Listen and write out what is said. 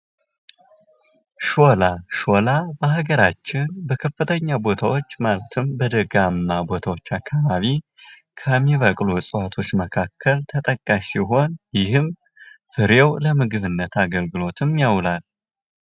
ሾላ ሸዋ በሃገራችን በከፍተኛ ቦታዎች በደጋማ ቦታዎች አካባቢ ከሚበቅሎ እፅዋቶች መካከል ተጠቃሽ ሲሆን ይህም ፍሬው ለምግብነት አገልግሎት ይውላል ።